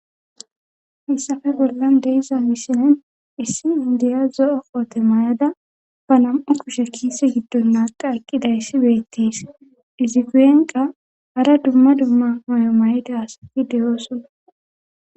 hissafe bollan deiza wisinen issi indiya zo7o qoote may7ada ba nam7u kushe kiise giddon naaqa aqqidayssi beettiis diziguenqa ara dumma dumma may7o maydaasafi deyoosuna